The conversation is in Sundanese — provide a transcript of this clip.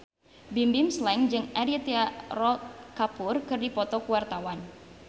Bimbim Slank jeung Aditya Roy Kapoor keur dipoto ku wartawan